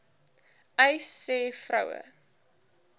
uys sê vroue